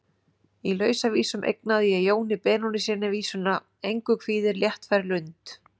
Í Lausavísum eignaði ég Jóni Benónýssyni vísuna: Engu kvíðir léttfær lund.